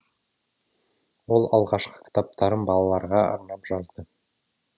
ол алғашқы кітаптарын балаларға арнап жазды